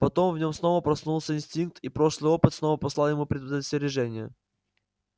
потом в нём снова проснулся инстинкт и прошлый опыт снова послал ему предостережение